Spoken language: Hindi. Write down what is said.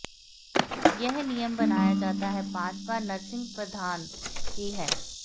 यह नियम मनाया जाता है पांच बार नर्सिंग प्रदान की है